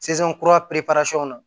na